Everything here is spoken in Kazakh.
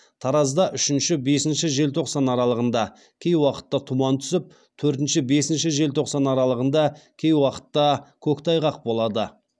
таразда үшінші бесініші желтоқсан аралығында кей уақытта тұман түсіп төртінші бесінші желтоқсан аралығында кей уақытта көктайғақ болады